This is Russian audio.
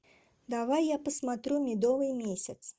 давай я посмотрю медовый месяц